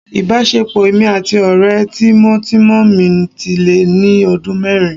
Ìbáṣepọ̀ èmi àti ọ̀rẹ́ tímọ́tímọ́ mi ti lé ní ọdún mẹ́rin